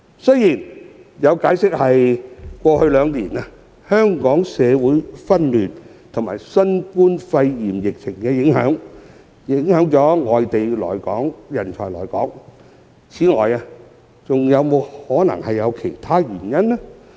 雖然有解釋指過去兩年，香港社會紛亂和新冠肺炎疫情影響了外地人才來港，但是否存在其他原因呢？